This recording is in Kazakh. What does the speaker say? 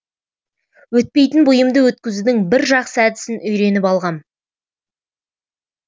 өтпейтін бұйымды өткізудің бір жақсы әдісін үйреніп алғам